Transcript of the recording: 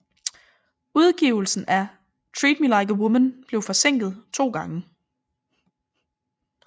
Udgivelsen af Treat Me Like a Woman blev forsinket to gange